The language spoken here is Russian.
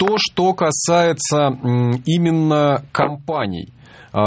то что касается именно компаний а